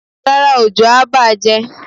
Rárá, òjò a bààjẹ́.